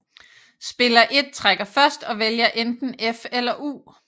Spiller 1 trækker først og vælger enten F eller U